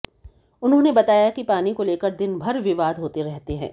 उन्होंने बताया कि पानी को लेकर दिनभर विवाद होते रहते हैं